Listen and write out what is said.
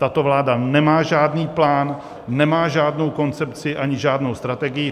Tato vláda nemá žádný plán, nemá žádnou koncepci ani žádnou strategii.